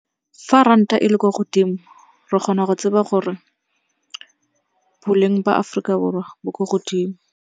Fa ranta e le kwa godimo re kgona go tseba gore boleng ba Aforika Borwa bo ko godimo.